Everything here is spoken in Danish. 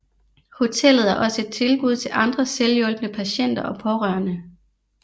Hotellet er også et tilbud til andre selvhjulpne patienter og pårørende